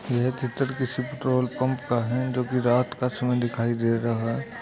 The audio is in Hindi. यह चित्र किसी पेट्रोल पंप का है जोकि रात का समय दिखाई दे रहा है।